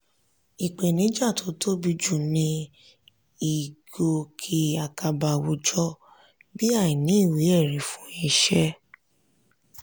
ìpèníjà tó tóbi jù ń ní ìgòkè àkàbà àwùjọ bí àìní ìwé-ẹ̀rí fún iṣẹ́.